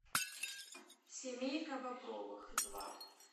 семейка бобровых два